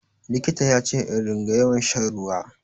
Likita ya ce in ringa yawan shan ruwa.